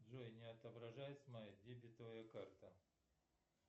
джой не отображается моя дебетовая карта